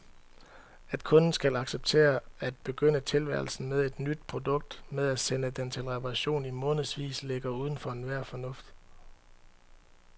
At kunden skal acceptere at begynde tilværelsen med et nyt produkt med at sende det til reparation i månedsvis ligger uden for enhver fornuft.